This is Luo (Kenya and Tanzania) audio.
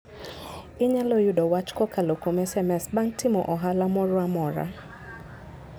Inyalo yudo wach kokalo kuom SMS bang' timo ohala moro amora.